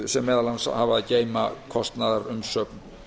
sem meðal annars hafa að geyma kostnaðarumsögn